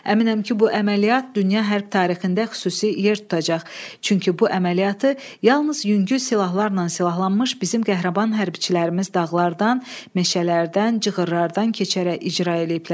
Əminəm ki, bu əməliyyat dünya hərb tarixində xüsusi yer tutacaq, çünki bu əməliyyatı yalnız yüngül silahlarla silahlanmış bizim qəhrəman hərbçilərimiz dağlardan, meşələrdən, cığırılardan keçərək icra eləyiblər.